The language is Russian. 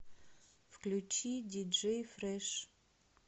включи диджей фреш